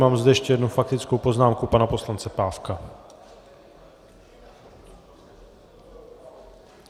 Mám zde ještě jednu faktickou poznámku pana poslance Pávka.